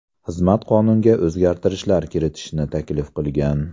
Xizmat qonunga o‘zgartirishlar kiritishni taklif qilgan.